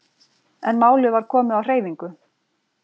En málið var komið á hreyfingu.